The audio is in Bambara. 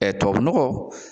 tubabunɔgɔ